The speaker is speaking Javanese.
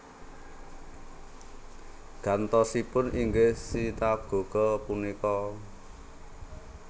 Gantosipun inggih sinagoga punika